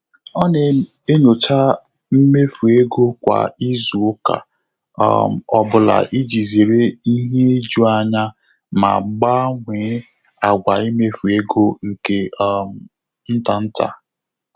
Ọ́ nà-ényóchá mméfù égo kwá ízù ụ́ká um ọ́ bụ́lá ìjí zéré ìhè íjù ányá mà gbànwèé àgwà íméfù égo nké um ntá ntá.